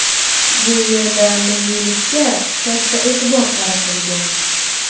Bu yerda milliylikka katta e’tibor qaratilgan.